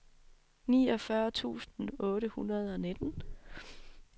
niogfyrre tusind otte hundrede og nitten